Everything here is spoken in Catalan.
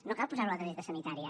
no cal posar ho a la targeta sanitària